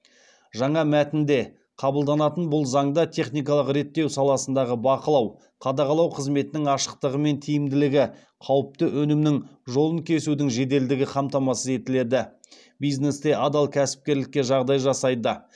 жаңа мәтінде қабылданатын бұл заңда техникалық реттеу саласындағы бақылау қадағалау қызметінің ашықтығы мен тиімділігі қауіпті өнімнің жолын кесудің жеделдігі қамтамасыз етіледі бизнесте адал кәсіпкерлікке жағдай жасайды